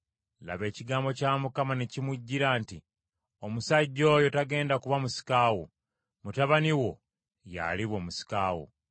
Laba ekigambo kya Mukama ne kimujjira nti, “Omusajja oyo tagenda kuba musika wo; mutabani wo, y’aliba omusika wo.”